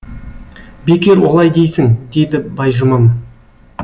бекер олай дейсің дейді байжұман